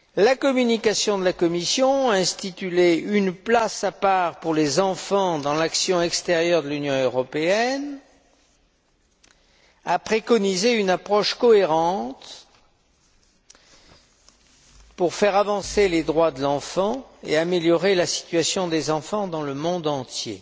La communication de la Commission a prévu une place à part pour les enfants dans l'action extérieure de l'Union européenne et elle a préconisé une approche cohérente pour faire avancer les droits de l'enfant et améliorer la situation des enfants dans le monde entier.